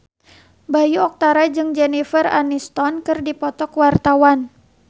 Bayu Octara jeung Jennifer Aniston keur dipoto ku wartawan